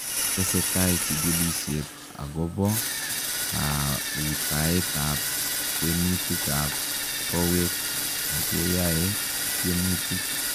Tesetai chikilisiet akopoo kautaet ap kwenuut ap kowek akeyae tiemutik